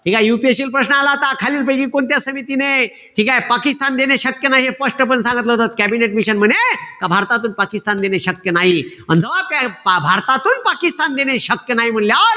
ठीकेय? UPSC ल प्रश्न आला होता. खालीलपैकी कोणत्या समितीने ठीकेय? पाकिस्तान देणे शक्य नाई हे स्पष्टपणं सांगितलं होत. कॅबिनेट मिशन म्हणे का भारतातून पाकिस्तान देणे शक्य नाई. अन भारतातून पाकिस्तान देणे शक्य नाई म्हणल्यावर,